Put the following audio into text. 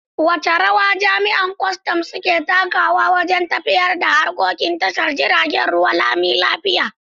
Wace rawa jami’an kwastam suke takawa wajen tafiyar da harkokin tashar jiragen ruwa lami lafiya?